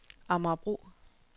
Amagerbro